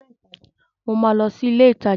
Mo ma lọ sí ilé ìtajà